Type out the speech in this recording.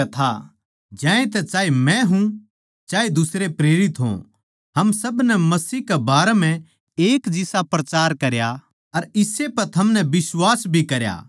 ज्यांतै चाहे मै हूँ चाहे दुसरे प्रेरित हों हम सब नै मसीह के बारें म्ह एक जिसा प्रचार करा अर इस्से पै थमनै बिश्वास भी करया